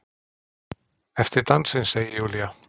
Eftir dansinn, segir Júlía.